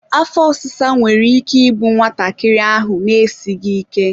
afọ ọsịsa nwere ike igbu nwatakịrị ahụ na-esighi ike.